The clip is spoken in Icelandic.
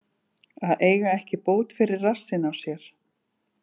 Að eiga ekki bót fyrir rassinn á sér